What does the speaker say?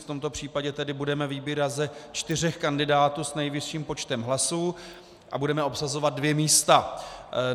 V tomto případě tedy budeme vybírat ze čtyř kandidátů s nejvyšším počtem hlasů a budeme obsazovat dvě místa.